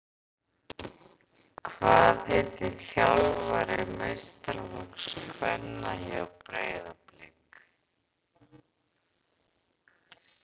Hvað heitir þjálfari meistaraflokks kvenna hjá Breiðablik?